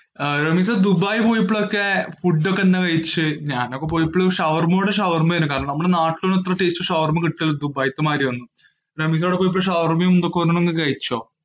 അഹ് റമീസ ദുബായിൽ പോഴപോയൊക്കെ ഫുഡ് ഒക്കെ എന്താ കഴിച്ചേ? ഞാൻ ഒക്കെ പോയപ്പോൾ ഷവര്മയോട് ഷവർമ്മ ആയിരുന്നു. കാരണം നമ്മൾ നാട്ടിലത്തേക്കാളും നല്ല taste ഉള്ള ഷവർമ്മ ദുബായിതെ മാതിരി ആണ്. റമീസ് അവിടെ പോയപപോ ഷവര്മയും എന്തേലും ഒക്കെ കഴിച്ചോ?